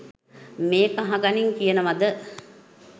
මේක අහගනින් කියනවද?